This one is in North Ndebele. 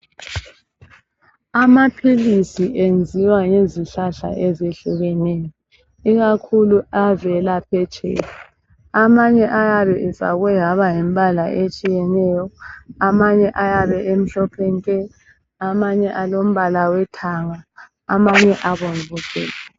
Amaphilisi enziwa ngezihlahla ezehlukeneyo ikakhulu avela phetsheya. Amanye ayabe efakwe ngembala etshiyeneyo. Amanye ayabe emhlophe nke, amanye elombala wethanga amanye njalo eyabe ebomvu gebhu.